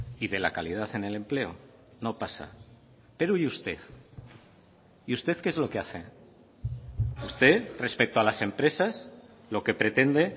y de la calidad en el empleo no pasa pero y usted y usted qué es lo que hace usted respecto a las empresas lo que pretende